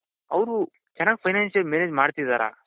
ಅವರು ಚೆನ್ನಾಗಿ finance manage ಮಾಡ್ತಿದಾರ ?